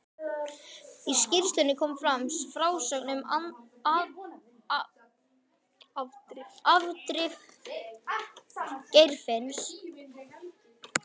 Í skýrslunum kom fram frásögn um afdrif Geirfinns.